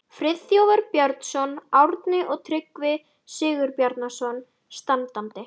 Friðþjófur Björnsson, Árni og Tryggvi Sigurbjarnarson standandi.